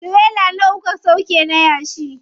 Tirela nawa kuka sauƙe na yashi?